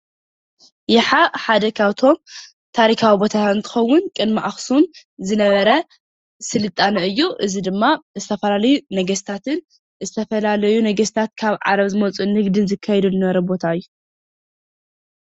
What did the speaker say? ይሓ ሓደ ካብቶም ታሪኻዊ ቦታታት እንትኸውን ቅድሚ ኣኽሱም ዝነበረ ስልጣነ እዩ እዚ ድማ ዝተፈላለዩ ነገስታትን ዝተፈላለዩ ነገስታት ካብ ዓረብ ዝመፁ ንግድን ዝካየደሉ ዝነበረ ቦታ እዩ።